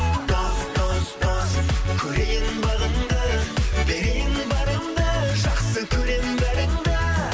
дос дос дос көрейін бағыңды берейін барымды жақсы көремін бәріңді